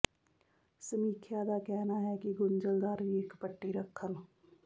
ਸਮੀਖਿਆ ਦਾ ਕਹਿਣਾ ਹੈ ਕਿ ਗੁੰਝਲਦਾਰ ਵੀ ਇੱਕ ਪੱਟੀ ਰੱਖਣ